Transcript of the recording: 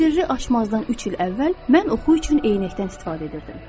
Sirri açmazdan üç il əvvəl mən oxu üçün eynəkdən istifadə edirdim.